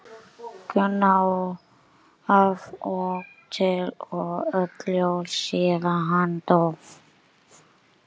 Gunna af og til og öll jól síðan hann dó.